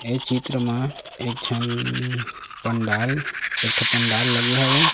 ए चित्र म एक झन पंडाल एक ठ पंडाल लगे हवे।